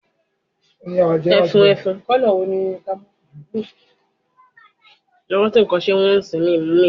Ile kekere ti nlọ lọwọ